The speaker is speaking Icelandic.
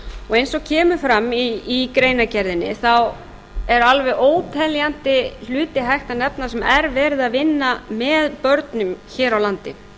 og eins og kemur fram í greinargerðinni er alveg óteljandi hluti hægt að nefna sem er verið að vinna með börnum hér á landi